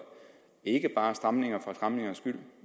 en ikke bare er stramninger for stramningernes skyld